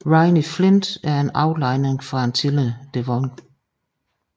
Rhynie flint er en aflejring fra tidlig devon